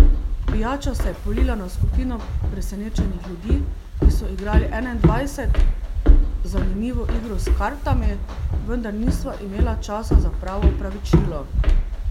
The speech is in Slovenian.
Pijača se je polila na skupino presenečenih ljudi, ki so igrali enaindvajset, zanimivo igro s kartami, vendar nisva imela časa za pravo opravičilo.